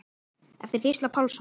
eftir Gísla Pálsson